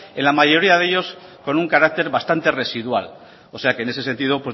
en la mayoría de ellos con un carácter bastante residual o sea que en ese sentido